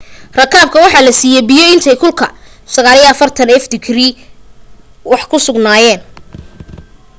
rakaabka waxa la saiiyay biyo intay kulka 90f digrii ah wax ku sugayeen